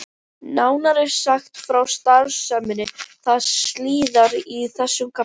Nánar er sagt frá starfseminni þar síðar í þessum kafla.